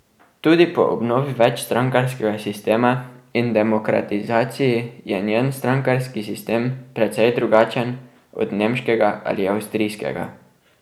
Tudi po obnovi večstrankarskega sistema in demokratizaciji je njen strankarski sistem precej drugačen od nemškega ali avstrijskega.